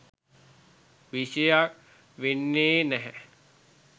විෂය වෙන්නේ නැහැ.